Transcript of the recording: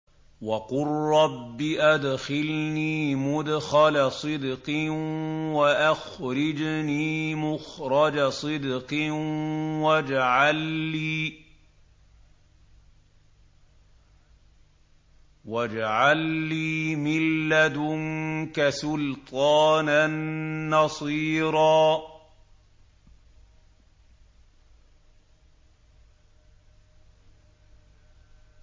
وَقُل رَّبِّ أَدْخِلْنِي مُدْخَلَ صِدْقٍ وَأَخْرِجْنِي مُخْرَجَ صِدْقٍ وَاجْعَل لِّي مِن لَّدُنكَ سُلْطَانًا نَّصِيرًا